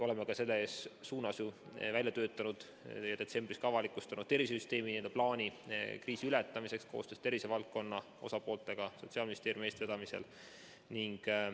Oleme ju välja töötanud ja detsembris ka avalikustanud tervisesüsteemi plaani kriisi ületamiseks koostöös tervisevaldkonna osapooltega Sotsiaalministeeriumi eestvedamisel.